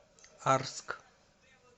арск